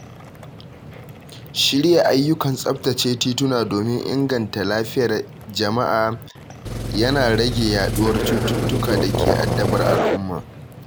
Shirya ayyukan tsabtace tituna domin inganta lafiyar jama’a yana rage yaɗuwar cututtukan da ke addabar al'umma.